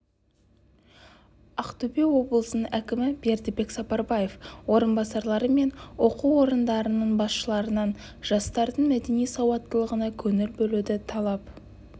ақтөбе облысының әкімі бердібек сапарбаев орынбасарлары мен оқу ордаларының басшыларынан жастардың мәдени сауаттылығына көңіл бөлуді талап